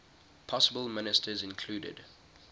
possible ministers included